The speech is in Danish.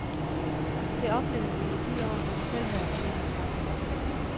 Det oplevede vi i de år, hvor vi selv havde regeringsmagten.